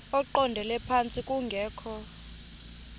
eqondele phantsi kungekho